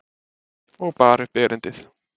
Og bar upp erindið.